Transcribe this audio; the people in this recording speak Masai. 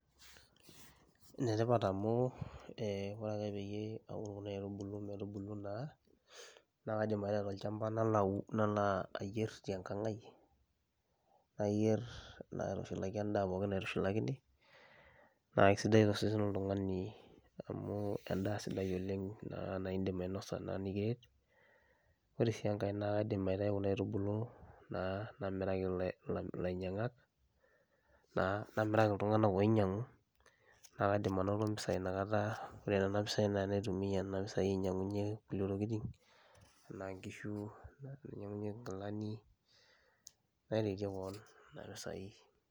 Enetipat amu ore peincho kuna aitubulu metubulu naa nakaidim aitau tolchamba nalo ayier tenkang aai nayier aitushulaki endaa pookin naitushulakini naisidai tosesen loltungani amu endaa sidai oleng nindim ainasa nikiret ore si enkae na kaidim aitau kuna iatubulu namiraki lainyangak, namiraki ltunganak oinyangu nakaidim ainoto mpisai inakata ore kuna pisai nakaidim aitumia ainyangunyie ngulie tokitin anaa nkishu, nainyangunyie nkilani, naretie kewon nona pisai.